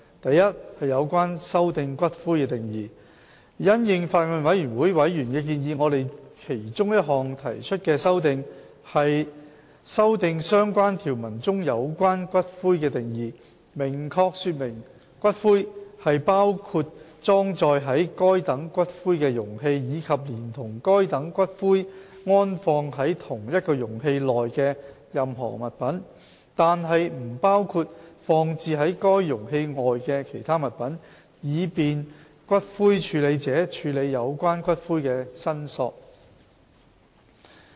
a 有關修訂"骨灰"的定義因應法案委員會委員的建議，我們其中一項提出的修訂，是修訂相關條文中有關骨灰的定義，明確說明骨灰是包括裝載該等骨灰的容器，以及連同該等骨灰安放在同一容器內的任何物品，但不包括放置於該容器外的其他物品，以便骨灰處理者處理有關骨灰的申索。